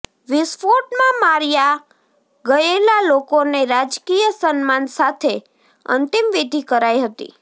વિસ્ફોટમાં માર્યા ગયેલા લોકોને રાજકીય સન્માન સાથે અંતિમ વિધી કરાઈ હતી